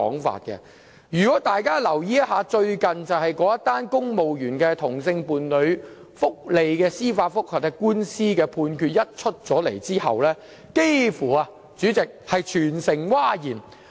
大家如有留意最近那宗涉及公務員同性伴侶福利的司法覆核案件，便知道判詞一出，幾乎全城譁然。